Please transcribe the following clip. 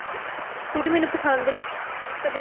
scooty ਮੈਨੂੰ ਪਸੰਦ ਨੀ ਕਦੇ